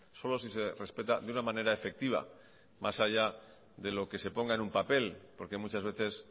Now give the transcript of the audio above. solo si se respeta de una manera efectiva más allá de lo que se ponga en un papel porque muchas veces